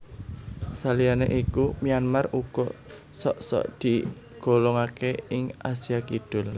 Saliyané iku Myanmar uga sok sok digolongaké ing Asia Kidul